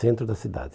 Centro da cidade.